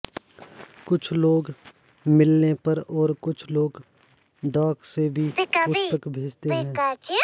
कुछ लोग मिलने पर और कुछ लोग डाक से भी पुस्तक भेजते हैं